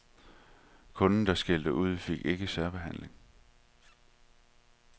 Kunder, der skældte ud, fik ikke særbehandling.